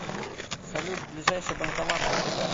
салют ближайший банкомат втб